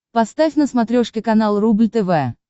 поставь на смотрешке канал рубль тв